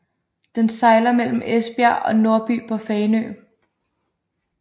Den sejler mellem Esbjerg og Nordby på Fanø